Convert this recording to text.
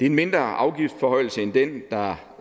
en mindre afgiftsforhøjelse end den der